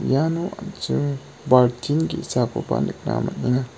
iano an·ching baltin ge·sakoba nikna man·enga.